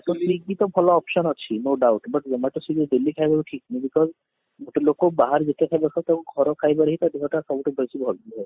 swiggy ତ ଭଲ option ଅଛି no doubt but zomato swiggy ରୁ daily ଖାଇବା ବି ଠିକ ନୁହେଁ because ଗୋଟେ ଲୋକ ବାହାରୁ ଯେତେ ଖାଇଲେ ବି ଘର ଖାଇବାରେ ତା ଦେହ ଟା ସବୁ ଠୁ ବେଶି ଭଲ ରୁହେ